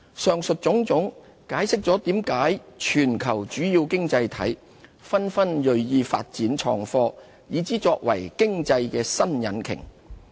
上述種種，解釋了為何全球主要經濟體紛紛銳意發展創科，以之作為經濟新引擎。